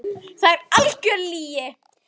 Það er algjör lygi.